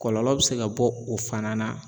Kɔlɔlɔ bɛ se ka bɔ o fana na.